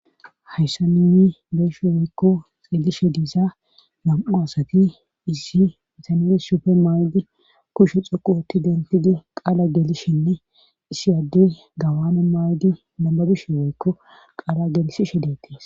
Hayssa nuuni be'ishe woykko xeelishe diza nam7u asati issi bitane sufe mayidi kushe xoqu otti denttidi qaala geelishenne issi adde gawane maayidi nababishe woykko qaala gelissishe deettes.